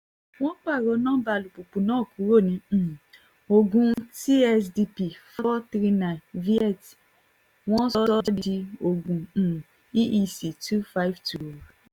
wọ́n pààrọ̀ nọmba alùpùpù náà kúrò ní um ogun tsdp439 viet wọ́n sọ ọ́ di ogun um eec 252 wí